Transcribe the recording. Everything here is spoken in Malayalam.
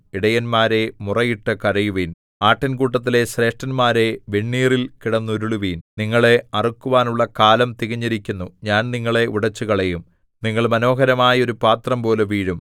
ഇടയന്മാരേ മുറയിട്ടു കരയുവിൻ ആട്ടിൻകൂട്ടത്തിലെ ശ്രേഷ്ഠന്മാരേ വെണ്ണീറിൽ കിടന്നുരുളുവിൻ നിങ്ങളെ അറുക്കുവാനുള്ള കാലം തികഞ്ഞിരിക്കുന്നു ഞാൻ നിങ്ങളെ ഉടച്ചുകളയും നിങ്ങൾ മനോഹരമായ ഒരു പാത്രംപോലെ വീഴും